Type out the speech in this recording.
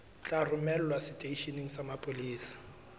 tla romelwa seteisheneng sa mapolesa